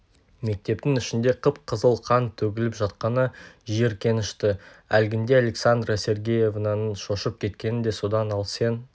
мектептің ішінде қып-қызыл қан төгіліп жатқаны жиіркенішті әлгінде александра сергеевнаның шошып кеткені де содан ал сен